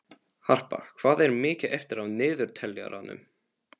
Harpa, hvað er mikið eftir af niðurteljaranum?